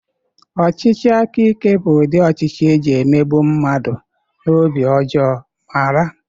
Ọchịchị aka ike bụ ụdị ọchịchị e ji mmegbu mmadụ na obi ọjọọ mara.